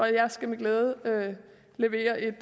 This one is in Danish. jeg skal med glæde levere et